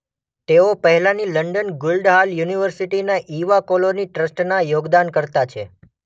તેઓ પહેલાની London Guildhall યુનિવર્સિટીના ઈવા કોલોર્ની ટ્રસ્ટના યોગદાનકર્તા છે.